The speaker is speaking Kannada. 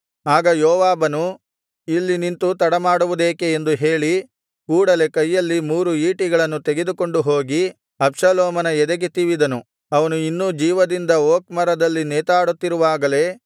ಆಗ ಯೋವಾಬನು ಇಲ್ಲಿ ನಿಂತು ತಡಮಾಡುವುದೇಕೆ ಎಂದು ಹೇಳಿ ಕೂಡಲೆ ಕೈಯಲ್ಲಿ ಮೂರು ಈಟಿಗಳನ್ನು ತೆಗೆದುಕೊಂಡು ಹೋಗಿ ಅಬ್ಷಾಲೋಮನ ಎದೆಗೆ ತಿವಿದನು ಅವನು ಇನ್ನೂ ಜೀವದಿಂದ ಓಕ್ ಮರದಲ್ಲಿ ನೇತಾಡುತ್ತಿರುವಾಗಲೇ